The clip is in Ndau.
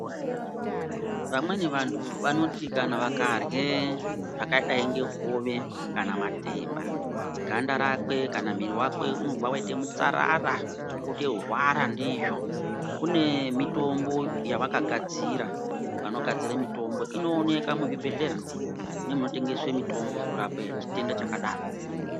Vamweni vantu vanoti kana varye zvakadai ngehove kana matemba ganda rakwe kana mwiri wakwe unobva waita mutsarara otorwara ndizvo kune mitombo yavakagadzira vanogadzira mitombo inoonekwa muzvibhedhlera mune mumptengesaa mutombo yekurapa chitenda chakadaro.